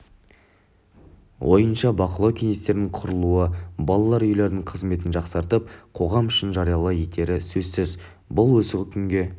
ойынша бақылау кеңестерінің құрылуы балалар үйлерінің қызметін жақсартып қоғам үшін жариялы етері сөзсіз бұл осы күнге